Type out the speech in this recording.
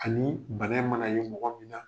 Anii bana in mana ye mɔgɔ min na